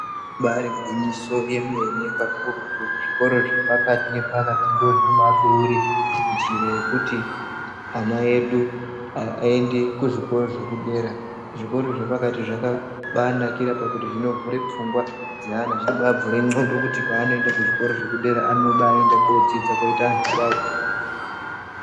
Ibaari gwinyiso remene mene zvikora zvepakati ndizvo zvinobaabeura njira yekuti ana edu aende kuzvikora zvekudera, zvikora zvepakati zvakabaanakira pakuti zvinovhura pfungwa dzeana zveibavhure ndxondo kuti paanoenda kuzvikora zvepadera anobaandodzidza kuita anthu kwawo.